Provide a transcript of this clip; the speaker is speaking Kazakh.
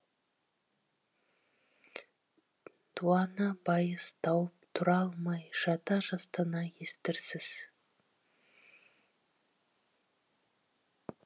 дуана байыз тауып тұра алмай жата жастана естірсіз